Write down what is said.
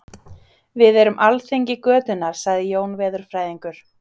Við erum alþingi götunnar sagði Jón veðurfræðingur.